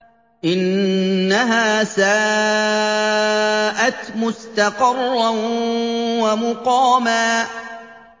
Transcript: إِنَّهَا سَاءَتْ مُسْتَقَرًّا وَمُقَامًا